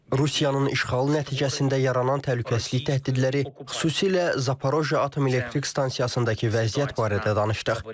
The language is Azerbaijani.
Rusiyanın işğalı nəticəsində yaranan təhlükəsizlik təhdidləri, xüsusilə Zaporojye Atom Elektrik Stansiyasındakı vəziyyət barədə danışdıq.